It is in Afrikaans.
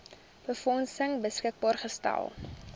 befondsing beskikbaar gestel